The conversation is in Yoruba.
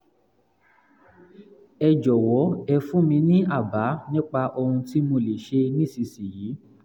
ẹ jọ̀wọ́ ẹ fún mi ní àbá nípa ohun tí mo lè ṣe nísinsìnyí!